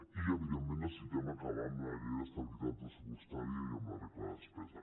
i evidentment necessitem acabar amb la llei d’estabilitat pressupostària i amb la regla de despesa